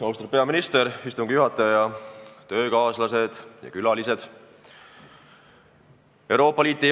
Austatud peaminister, istungi juhataja, töökaaslased ja külalised!